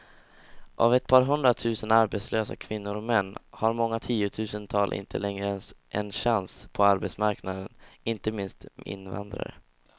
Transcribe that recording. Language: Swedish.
Av ett par hundratusen arbetslösa kvinnor och män har många tiotusental inte längre en chans på arbetsmarknaden, inte minst invandrare.